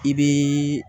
I bii